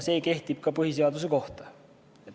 See kehtib ka põhiseaduse kohta.